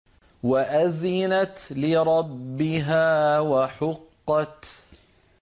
وَأَذِنَتْ لِرَبِّهَا وَحُقَّتْ